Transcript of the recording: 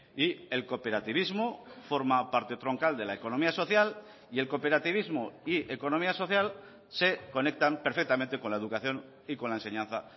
y el cooperativismo forma parte troncal de la economía social y el cooperativismo y economía social se conectan perfectamente con la educación y con la enseñanza